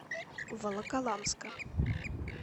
волоколамска